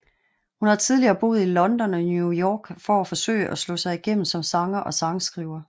Hun har tidligere boet i London og New York for at forsøge at slå igennem som sanger og sangskriver